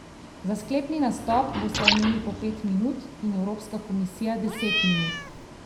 Za sklepni nastop bosta imeli po pet minut in evropska komisija deset minut.